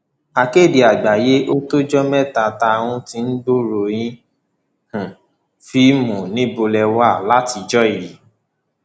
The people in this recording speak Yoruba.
akéde àgbáyé ó tọjọ mẹta tá um a ti gbúròó yín nínú um fíìmù níbo lè wà látijọ yìí